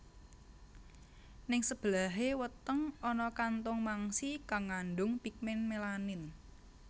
Ning sebelahé weteng ana kantung mangsi kang ngandung pigmen melanin